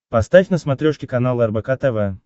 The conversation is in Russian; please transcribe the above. поставь на смотрешке канал рбк тв